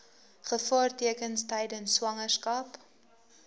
gevaartekens tydens swangerskap